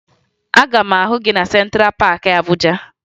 Aga m ahụ gị na Sentra Paakị Abuja